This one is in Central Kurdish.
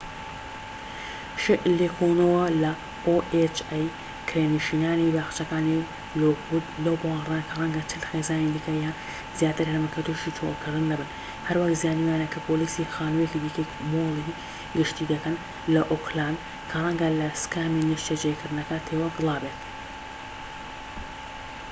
کرێنشینانی باخچەکانی لۆکوود لەو باوەڕەدان کە ڕەنگە 40 خێزانی دیکە یان زیاتر هەبن کە تووشی چۆڵکردن دەبن، هەروەک زانیویانە کە پۆلیسی ohaش لێکۆڵینەوە لە خانوویەکی دیکەی مولی گشتی دەکەن لە ئۆکلاند کە ڕەنگە لە سکامی نیشتەجێکردنەکە تێوە گلابێت